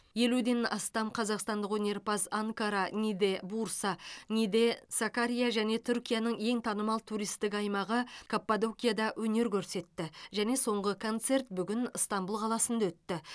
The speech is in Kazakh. елуден астам қазақстандық өнерпаз анкара ниде бурса ниде сакария және түркияның ең танымал туристік аймағы каппадокияда өнер көрсетті және соңғы концерт бүгін ыстанбұл қаласында өтті